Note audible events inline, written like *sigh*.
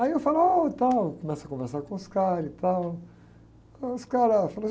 Aí eu falou, ôh, e tal, começo a conversar com os caras e tal, aí os caras *unintelligible*